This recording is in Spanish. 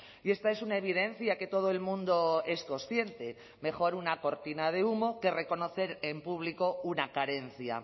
y esta es una evidencia que todo el mundo es consciente mejor una cortina de humo que reconocer en público una carencia